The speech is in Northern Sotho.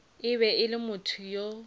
be e le motho yo